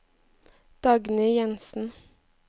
Dagny Jensen